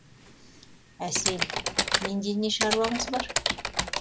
әсел менде не шаруаңыз бар